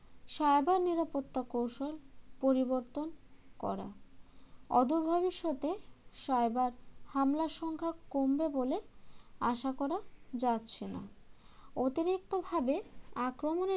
cyber নিরাপত্তা কৌশল পরিবর্তন করা অদূর ভবিষ্যতে cyber হামলার সংখ্যা কমবে বলে আশা করা যাচ্ছে না অতিরিক্তভাবে আক্রমণের